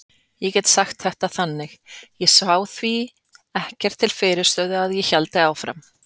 Ég get sagt þetta þannig: Ég sá því ekkert til fyrirstöðu að ég héldi áfram.